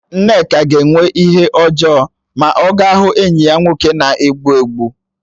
Nneka ga-enwe ihe ojoo ma o gaa hụ enyi ya nwoke na-egbu egbu